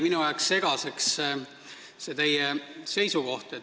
Minu jaoks jäi natukene segaseks üks teie seisukoht.